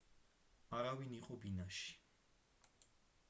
არავინ იყო ბინაში